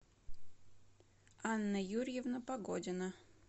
анна юрьевна погодина